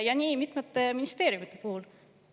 Ja nii on mitmete ministeeriumide puhul.